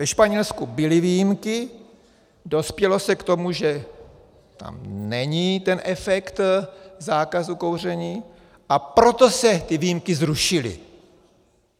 Ve Španělsku byly výjimky, dospělo se k tomu, že tam není ten efekt zákazu kouření, a proto se ty výjimky zrušily.